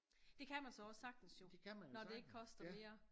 Det kan man så også sagtens jo når det ikke koster mere